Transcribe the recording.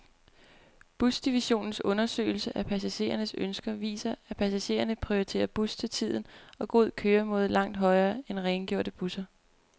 Busdivisionens undersøgelser af passagerernes ønsker viser, at passagererne prioriterer bus til tiden og god køremåde langt højere end rengjorte busser.